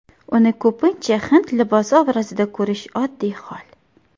Uni ko‘pincha hind libosi obrazida ko‘rish oddiy hol.